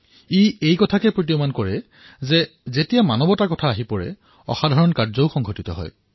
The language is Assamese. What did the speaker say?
ই এয়াই প্ৰদৰ্শিত কৰিছে যে যেতিয়া মানৱতা একত্ৰিত হয় তেতিয়া অভূতপূৰ্ব কাৰ্য সংঘটিত হয়